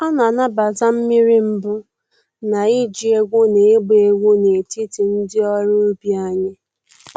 A na-anabata mmiri mbụ na iji egwu na ịgba egwu n’etiti ndị ọrụ ubi anyị.